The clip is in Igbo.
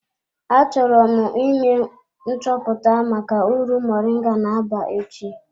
Achọrọ m ime nchọpụta maka uru moringa na-aba echi.